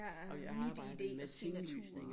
Og jeg har arbejdet med tinglysning